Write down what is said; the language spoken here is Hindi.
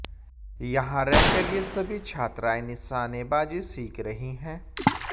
यहां रहकर ये सभी छात्राएं निशानेबाजी सीखकर रही है